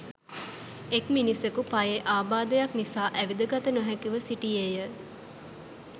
එක් මිනිසකු පයේ ආබාධයක් නිසා ඇවිදගත නොහැකිව සිටියේය